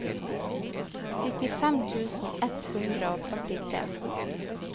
syttifem tusen ett hundre og førtitre